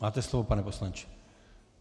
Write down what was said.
Máte slovo, pane poslanče.